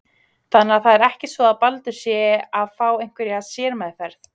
Þannig að það er ekki svo að Baldur sé að fá einhverja sérmeðferð?